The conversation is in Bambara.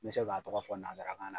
N bɛ se k'a tɔgɔ fɔ nanzarakan na.